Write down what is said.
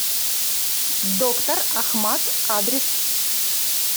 доктор ахмад адрес